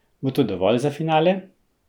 Bo to dovolj za finale?